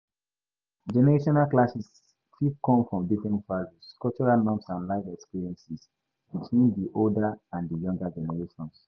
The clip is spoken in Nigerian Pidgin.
Generational clashes fit come from different values, cultural norms and life experiences between di older and di younger generations.